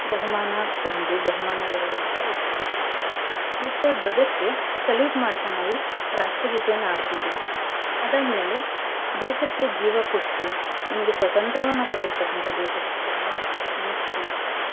ಬಹುಮಾನ ಒಂದು ಬಹುಮಾನ ಎರ್ಡೂ ಅಂತ ಇರ್ತದ್ರಿ. ಮತ್ತ ಧ್ವಜಕ್ಕೆ salute ಮಾಡ್ತಾ ನಾವು ರಾಷ್ಟ್ರಗೀತೆಯನ್ನ ಹಾಡ್ತಿವ್ರಿ, ಅದಾದ್ ಮೇಲೆ ದೇಶಕ್ಕೆ ಜೀವಾ ಕೊಟ್ಟು ನಮ್ಗೆ ಸ್ವತಂತ್ರ್ಯವನ್ನ ಕೊಟ್ಟಿರ್ತಕ್ಕಂತ ದೇಶ ಭಕ್ತರನ್ನ ನೆನ್ಪಿಸ್ಕೋಳ್ತೇವ್ರಿ.